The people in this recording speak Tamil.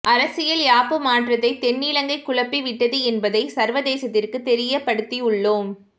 அரசியல் யாப்பு மாற்றத்தை தென்னிலங்கை குழப்பி விட்டது என்பதை சர்வதேசத்திற்கு தெரியப்படுத்தியுள்ளோம்